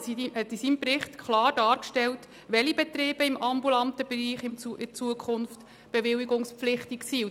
Der Regierungsrat hat in seinem Bericht klar dargestellt, welche Betriebe im ambulanten Bereich künftig bewilligungspflichtig sind.